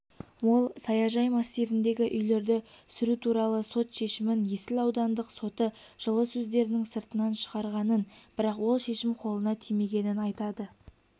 ол саяжай массивіндегі үйлерді сүру туралы сот шешімін есіл аудандық соты жылы өздерінің сыртынан шығарғанын бірақ ол шешім қолына тимегенін айтады